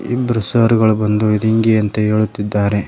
ಇಬ್ರು ಸರ್ ಗಳು ಬಂದು ಇದು ಇಂಗೆ ಅಂತ ಹೇಳುತ್ತಿದ್ದಾರೆ.